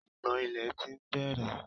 ìgbọ̀n ilẹ̀ ti ń bẹ̀rè